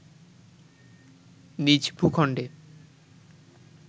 নিজ ভূখণ্ডে